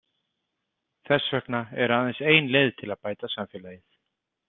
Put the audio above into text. Þess vegna er aðeins ein leið til að bæta samfélagið.